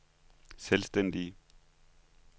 selvstændige